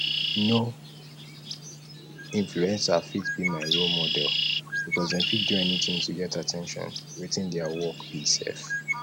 no influencer fit be my role model because dem fit do anything to get at ten tion wetin dia work be sef